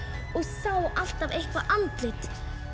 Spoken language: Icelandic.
og sá alltaf eitthvað andlit